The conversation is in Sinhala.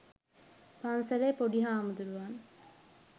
පන්සලේ පොඩි හාමුදුරුවන්